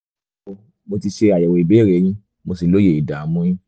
ẹnlẹ́ o mo ti ṣe àyẹ̀wò ìbéèrè yín mo sì lóye ìdààmú yín